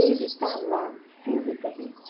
Ele está lá fisicamente.